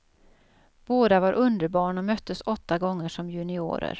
Båda var underbarn och möttes åtta gånger som juniorer.